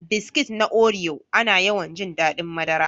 Biskit na Oreo, ana yawan jin daɗin madara.